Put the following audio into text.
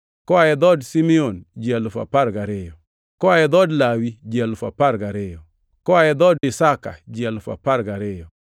Koa dhood Simeon ji alufu apar gariyo (12,000), Koa dhood Lawi ji alufu apar gariyo (12,000), Koa dhood Isakar ji alufu apar gariyo (12,000),